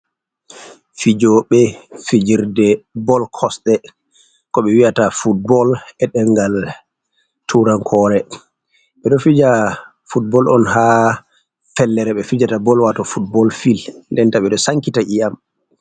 Fijoɓe fijirde bol kosɗe ko ɓe wi'ata footbol e dengal turankore, ɓedo fija footbol on ha fellere ɓe fijata bol wato footbol fil nden ta ɓeɗo sankita iyam.